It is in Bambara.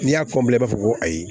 N'i y'a i b'a fɔ ko ayi